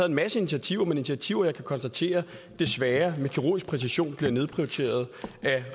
en masse initiativer men initiativer som jeg kan konstatere desværre med kirurgisk præcision bliver nedprioriteret af